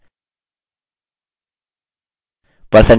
percentage of the correctness भी कम हो जाता है